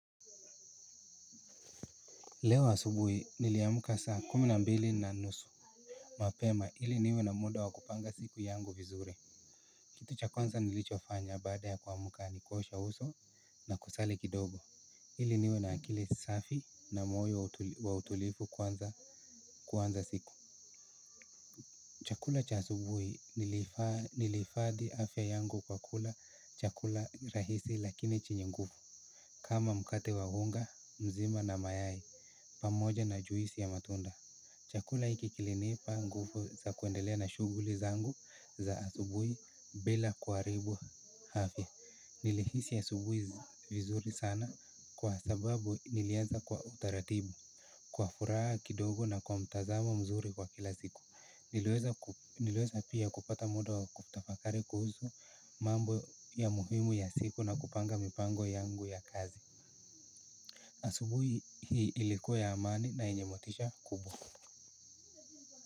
Leo asubuhi niliamka saa kumi na mbili na nusu. Mapema ili niwe na muda wa kupanga siku yangu vizuri. Kitu cha kwanza nilichofanya baada ya kuamuka ni kuosha uso na kusali kidogo. Ili niwe na akili safi na moyo wa utulivu kwanza kuanza siku. Chakula cha asubuhi niliifadhi afya yangu kwa kula chakula rahisi lakini chenye nguvu. Kama mkate wa unga mzima na mayai pamoja na juisi ya matunda. Chakula hiki kilinipa nguvu za kuendelea na shughuli zangu za asubui bila kuharibu afya. Nilihisi asubuhi vizuri sana kwa sababu nilianza kwa utaratibu. Kwa furaha kidogo na kwa mtazamo mzuri wa kila siku. Niliweza pia kupata muda wa kutafakari kuhusu mambo ya muhimu ya siku na kupanga mipango yangu ya kazi. Asubuhi hii ilikuwa ya amani na yenye motisha kuu.